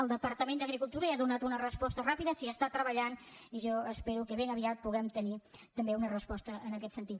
el departament d’agricultura ja hi ha donat una resposta ràpida s’hi treballa i jo espero que ben aviat puguem tenir també una resposta en aquest sentit